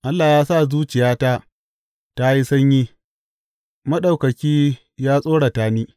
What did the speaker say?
Allah ya sa zuciyata ta yi sanyi; Maɗaukaki ya tsorata ni.